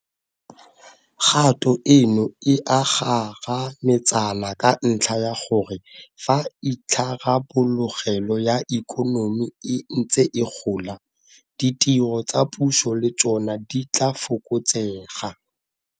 Kgato eno e a kgarametsana ka ntlha ya gore fa itharabologelo ya ikonomi e ntse e gola, ditiro tsa puso le tsona di tla fokotsega.